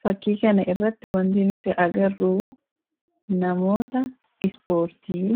Fakkii kana irratti wanti nuti arginu namoota ispoortii